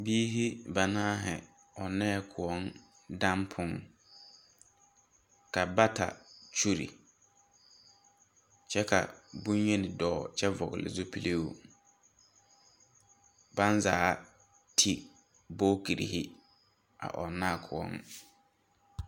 Biiri banaare ɔŋnɛɛ koɔ dampuŋ ka bata kyulli kyɛ ka bonyeni dɔɔ kyɛ vɔgli zupiluu baŋ zaa ti bogitirii a ɔŋnaa koɔ .